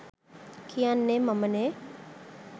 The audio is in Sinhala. කියන්නේ මමනේ.